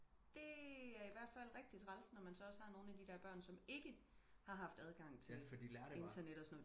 Det er ihvertfald rigtig træls når man også har nogen af de der børn der ikke har haft adgang til internet og sådan noget